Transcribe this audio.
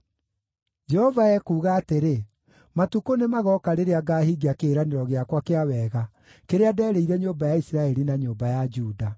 “Jehova ekuuga atĩrĩ, ‘Matukũ nĩmagooka rĩrĩa ngaahingia kĩĩranĩro gĩakwa kĩa wega kĩrĩa nderĩire nyũmba ya Isiraeli na nyũmba ya Juda.